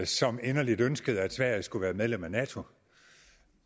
som inderligt ønskede at sverige skulle være medlem af nato